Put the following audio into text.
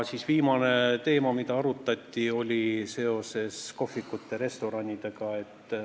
Viimane teema, mida arutati, oli seoses kohvikute ja restoranidega.